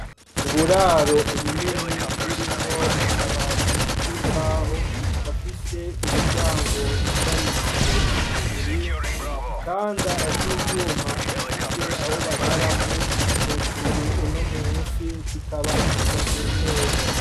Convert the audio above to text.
Uburaro ubunini burimwo akabati k'imbaho, gafise imiryango yugarishijwe igufuri, igitanda civyuma gifise aho bararako ,hejuru no munsi kikaba gishashe neza.